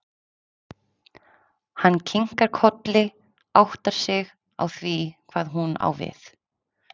Hann kinkar kolli, áttar sig á því hvað hún á við.